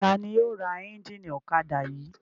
Ta ni yóò ra ẹ́ńjínì ọ̀kadà yìí?